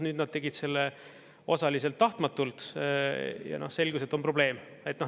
Nüüd nad tegid selle osaliselt tahtmatult ja selgus, et on probleem.